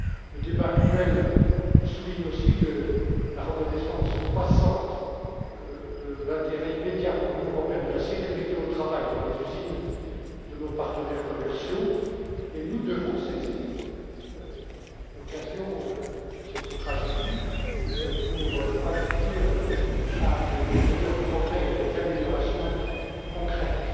Le débat actuel souligne aussi la reconnaissance croissante de l'intérêt immédiat pour l'Union européenne de la sécurité au travail dans les usines de nos partenaires commerciaux et nous devons saisir l'occasion de cette tragédie pour aboutir à de meilleurs progrès, à des améliorations concrètes.